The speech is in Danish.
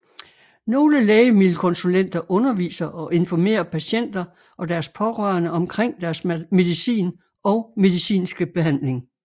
Nogle lægemiddelkonsulenter underviser og informerer patienter og deres pårørende omkring deres medicin og medicinske behandling